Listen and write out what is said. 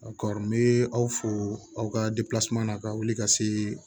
kɔɔri me aw fo aw ka na ka wuli ka se